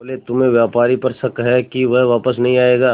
बोले तुम्हें व्यापारी पर शक है कि वह वापस नहीं आएगा